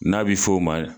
N'a bɛ f'o ma